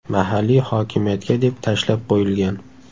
Mahalliy hokimiyatga deb tashlab qo‘yilgan.